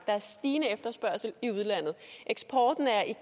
er stigende efterspørgsel i udlandet eksporten er i